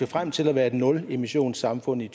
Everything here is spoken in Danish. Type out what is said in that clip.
frem til at være et nulemissionssamfund i